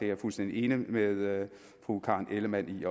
er fuldstændig enig med fru karen ellemann i